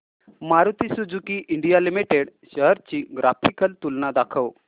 Maruti Suzuki India limited shares ची graphical तुलना दाखव